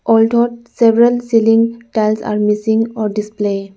several ceiling tiles are missing or display.